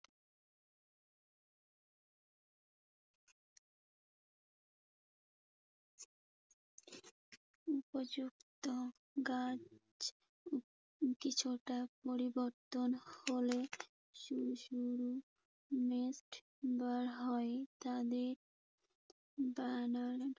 উপযুক্ত গাছ কিছুটা পরিবর্তন হলে শুধু শুধু নেট বার হয়। তাদের